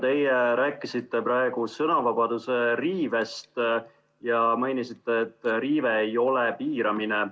Teie rääkisite praegu sõnavabaduse riivest ja mainisite, et riive ei ole piiramine.